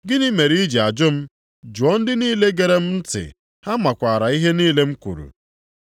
Gịnị mere i ji ajụ m? Jụọ ndị niile gere m ntị! Ha makwaara ihe niile m kwuru.”